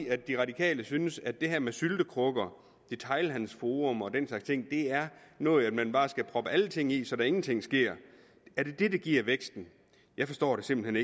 at de radikale synes at det her med syltekrukker detailhandelsfora og den slags ting er noget man bare skal proppe alting ned i så der ingenting sker er det det der giver vækst jeg forstår det simpelt